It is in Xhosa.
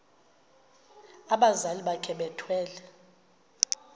abazali bakhe bethwele